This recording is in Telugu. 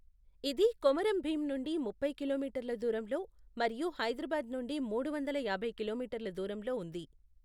ఇది కొమరం భీం నుండి ముప్పై కిలోమీటర్ల దూరంలో మరియు హైదరాబాద్ నుండి మూడు వందల యాభై కిలోమీటర్ల దూరంలో ఉంది.